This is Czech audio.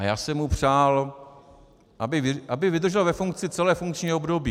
A já jsem mu přál, aby vydržel ve funkci celé funkční období.